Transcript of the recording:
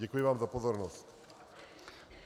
Děkuji vám za pozornost.